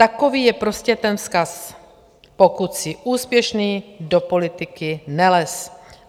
Takový je prostě ten vzkaz: Pokud jsi úspěšný, do politiky nelez!